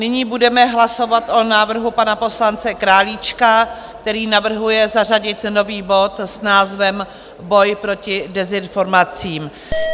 Nyní budeme hlasovat o návrhu pana poslance Králíčka, který navrhuje zařadit nový bod s názvem Boj proti dezinformacím.